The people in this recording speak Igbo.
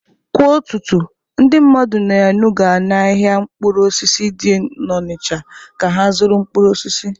Kwa ụtụtụ, ndị mmadụ na-enuga n’ahịa mkpụrụ osisi dị n'Onịcha ka ha zụrụ mkpụrụ osisi.